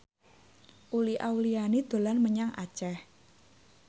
Uli Auliani dolan menyang Aceh